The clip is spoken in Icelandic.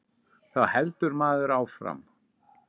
Þá heldur maður áfram.